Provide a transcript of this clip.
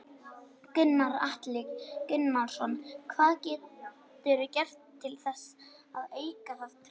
Gunnar Atli Gunnarsson: Hvað geturðu gert til þess að auka það traust?